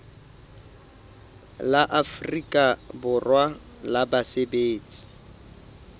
la afrika borwa la basebetsi